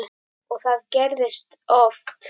Og það gerðist oft.